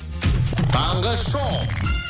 таңғы шоу